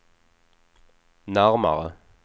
närmare